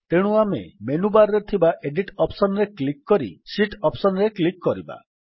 ତେଣୁ ଆମେ ମେନୁବାର୍ ରେ ଥିବା ଏଡିଟ୍ ଅପ୍ସନ୍ ରେ କ୍ଲିକ୍ କରି ଶୀତ୍ ଅପ୍ସନ୍ ରେ କ୍ଲିକ୍ କରିବା